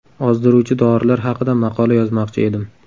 Ozdiruvchi dorilar haqida maqola yozmoqchi edim.